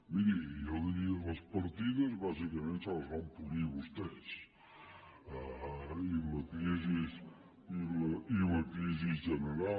miri jo diria les partides bàsicament se les van polir vostès i la crisi general